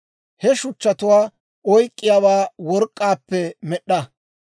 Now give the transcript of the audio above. He shuchchatuwaa oyk'k'iyaawaa work'k'aappe med'd'a.